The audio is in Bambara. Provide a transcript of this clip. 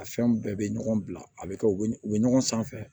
A fɛn bɛɛ bɛ ɲɔgɔn bila a bɛ kɛ u bɛ ɲɔgɔn sanfɛ